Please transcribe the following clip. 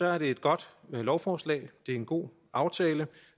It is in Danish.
er det et godt lovforslag det er en god aftale